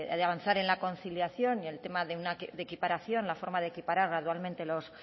de avanzar en la conciliación y el tema de equiparación la forma de equiparar gradualmente los